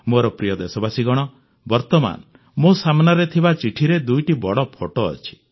ମୋର ପ୍ରିୟ ଦେଶବାସୀଗଣ ବର୍ତ୍ତମାନ ମୋ ସାମ୍ନାରେ ଥିବା ଚିଠିରେ ଦୁଇଟି ବଡ଼ ଫଟୋ ଅଛି